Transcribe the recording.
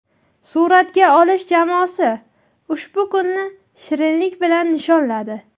Suratga olish jamoasi ushbu kunni shirinlik bilan nishonladi.